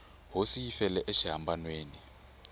hosi yi hi fele exihambanweni